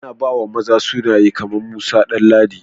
A na ba maza sunaye kaman Musa, Danladi